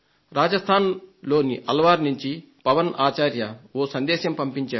రాజస్థాన్ లోని అల్ వర్ నుండి శ్రీ పవన్ ఆచార్య ఓ సందేశాన్ని పంపించారు